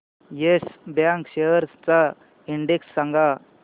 yes Bank shares चा index सांगा